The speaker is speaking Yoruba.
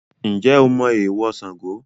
Ǹjẹ́ o mọ èèwọ̀ Sango?